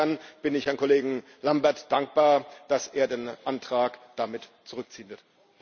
Insofern bin ich Herrn Kollegen Lamberts dankbar, dass er den Antrag damit zurückziehen wird.